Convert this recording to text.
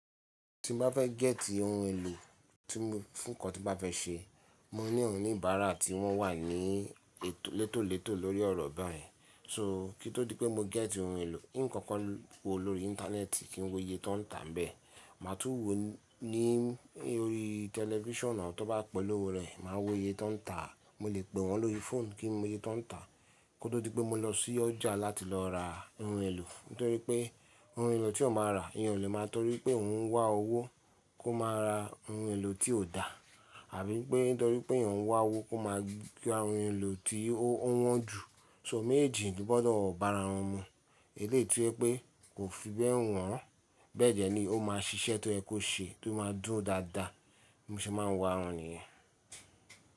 Tí mo bá fẹ́ gẹ́tì ohun èlò tí mo fún nǹkan tí bá fẹ́ ṣe, mo ní ọ̀níbára tí wọ́n wà ní létòlétò lórí ọ̀rọ̀ báyìí. So kí ó tó di pé mo gẹ́tì ohun èlò, nǹkan kan wo lórí íńtánẹ́ẹ̀tì kí n wo iye tó ń tà á bẹ́ẹ̀. Màá tún wo ní orí tẹlifíṣàn tó bá pẹ̀lú rẹ̀, màá wo iye tó ń tà a. Mo lè pè wọ́n lórí fóònù kí n mọ iye tan ń tà a. Kí ó tó di pé mo lọ sí ọjà láti lọ ra ohun èlò. Nítorí pé ohun èlò tí eeyan máa rà, eeyan ò lè máa torí pé ò ń wá owó kó máa ra ohun èlò tí kò dá àbí pé nítorí pé eeyan ń wá owó kó máa gba ohun èlò tí ó wọ́n jù. So méjeejì ni ó gbọ́dọ̀ bá ara wọn mu. Eléyi to je pé kò fi bẹ́ẹ̀ wọ́n, bẹ́ẹ̀ dẹ́ ni ó máa ṣiṣẹ́ tó yẹ kó ṣe tó máa dùro dáadáa bí mo ṣe máa ń wo ara won niyen.